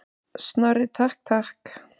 Snorri, takk, takk.